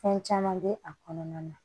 Fɛn caman bɛ a kɔnɔna na